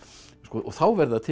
þá verða til